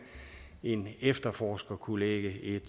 en efterforsker kunne lægge et